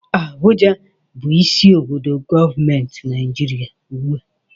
Abuja bụ isi obodo gọọmenti Naịjirịa ugbu a